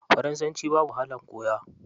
Faransanci babu wahalar koya.